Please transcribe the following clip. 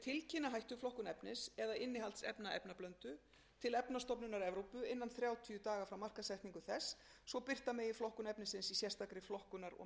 tilkynna hættuflokkun efnis eða innihald efnablöndu til efnastofnunar evrópu innan þrjátíu daga frá markaðssetningu þess svo birta megi flokkun efnisins sérstakri flokkunarmerkiskrá